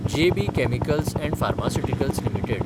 J. B. Chemicals and pharmaceuticals limited